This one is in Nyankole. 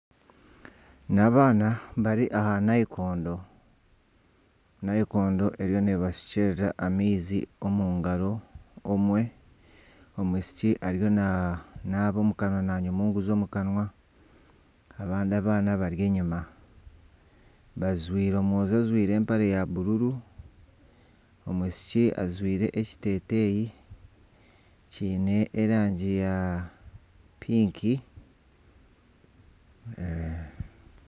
Ni abaana bari aha nayikondo. Nayikondo eriyo neebashukyerera amaizi omu ngaro. Omwe omwishiki ariyo nanaaba omu kanwa, na munyunguza omu kanwa. Abandi abaana bari enyima. Omwojo ajwaire empare ya bururu, omwishiki ajwaire ekiteteeyi kiine erangi ya pinki.